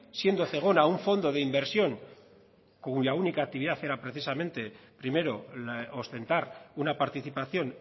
siendo zegona un fondo de inversión cuya única actividad era precisamente primero ostentar una participación